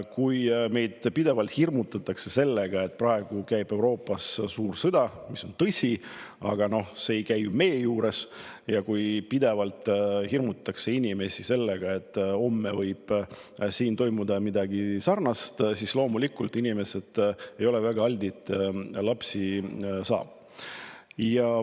Kui meid pidevalt hirmutatakse sellega, et praegu käib Euroopas suur sõda – see on küll tõsi, aga see ei käi ju meie juures –, ja kui pidevalt hirmutatakse inimesi sellega, et homme võib siin toimuda midagi sarnast, siis loomulikult, inimesed ei ole väga altid lapsi saama.